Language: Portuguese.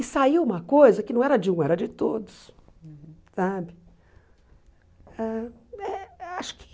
E saiu uma coisa que não era de um, era de todos sabe ãh eh acho que.